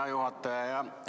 Hea juhataja!